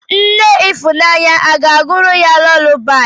Nne ifunanya aga-agụụrụ ya lulabaị?